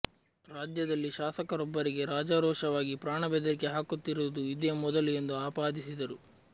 ರಾಜ್ಯದಲ್ಲಿ ಶಾಸಕರೊಬ್ಬರಿಗೆ ರಾಜಾರೋಷವಾಗಿ ಪ್ರಾಣಬೆದರಿಕೆ ಹಾಕುತ್ತಿರುವುದು ಇದೇ ಮೊದಲು ಎಂದು ಆಪಾದಿಸಿದರು